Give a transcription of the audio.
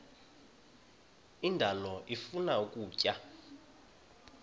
indalo ifuna ukutya